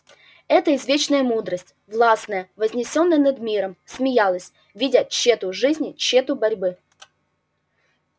это извечная мудрость властная вознесённая над миром смеялась видя тщету жизни тщету борьбы